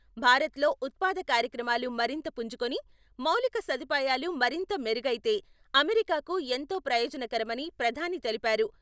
భారత్లో ఉత్పాద కార్యక్రమాలు మరింత పుంజుకుని, మౌలిక సదుపాయాలు మరింత మెరుగైతే అమెరికాకూ ఎంతో ప్రయోజనకరమని ప్రధాని తెలిపారు.